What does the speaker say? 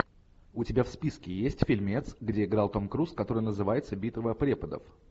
у тебя в списке есть фильмец где играл том круз который называется битва преподов